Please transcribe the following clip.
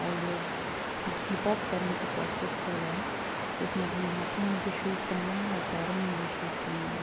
और ये एक हिप-हॉप करने की प्रैक्टिस कर रहा है। इसने अपने हाथो में भी शूज पहना है और पैरो में भी शूज पहना हुआ --